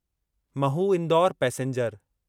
Mhow Indore passenger